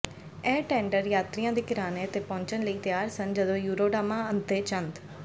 ਇਹ ਟੈਂਡਰ ਯਾਤਰੀਆਂ ਦੇ ਕਿਨਾਰੇ ਤੇ ਪਹੁੰਚਣ ਲਈ ਤਿਆਰ ਸਨ ਜਦੋਂ ਯੂਰੋਡਾਮਾ ਅੱਧੇ ਚੰਦ